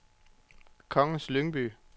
Kongens Lyngby